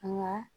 Nka